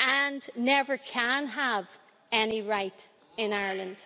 and never can have any right in Ireland'.